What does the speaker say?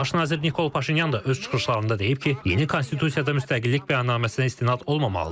Baş nazir Nikol Paşinyan da öz çıxışlarında deyib ki, yeni konstitusiyada müstəqillik bəyannaməsinə istinad olmamalıdır.